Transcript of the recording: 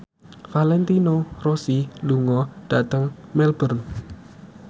Valentino Rossi lunga dhateng Melbourne